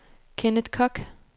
Kenneth Kock